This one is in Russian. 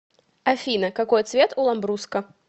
афина какой цвет у ламбруско